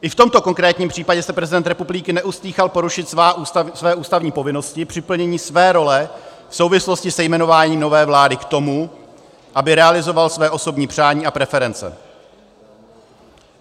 I v tomto konkrétním případě se prezident republiky neostýchal porušit své ústavní povinnosti při plnění své role v souvislosti se jmenováním nové vlády k tomu, aby realizoval své osobní přání a preference.